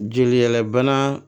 Jeliyɛlɛ bana